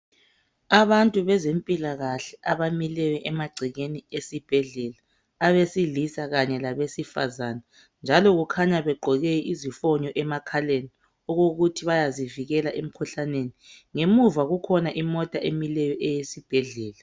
Abantu bezempilakahle abemileyo emagcekeni esibhedlela abesilisa kanye labesifazana njalo kukhanya begqoke izifonyo emakhaleni okokuthi bayazivikela emkhuhlaneni. Ngemuva kukhona imota emileyo eyesibhedlela.